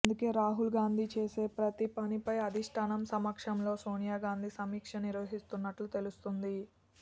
అందుకే రాహుల్ గాంధీ చేసే ప్రతి పనిపై అధిష్టానం సమక్షంలో సోనియా గాంధీ సమీక్ష నిర్వహిస్తున్నట్లు తెలుస్తోంది